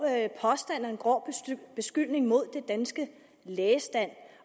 påstand og en grov beskyldning mod den danske lægestand